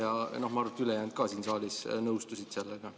Ma arvan, et ka ülejäänud siin saalis nõustusid sellega.